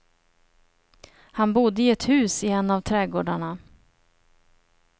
Han bodde i ett hus i en av trädgårdarna.